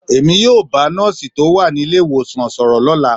Èmi yóò bá nọ́ọ̀sì tó wà ní ilé ìwòsàn sọ̀rọ̀ lọ́la.